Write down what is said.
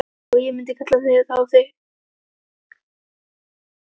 Og ég myndi kalla þá grein